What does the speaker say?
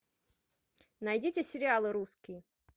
найдите сериалы русские